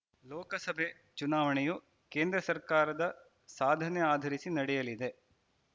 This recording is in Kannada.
ಲೋಕಸಭೆ ಚುನಾವಣೆಯು ಕೇಂದ್ರ ಸರ್ಕಾರದ ಸಾಧನೆ ಆಧರಿಸಿ ನಡೆಯಲಿದೆ